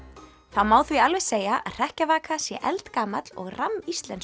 það má því alveg segja að hrekkjavaka sé eldgamall og